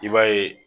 I b'a ye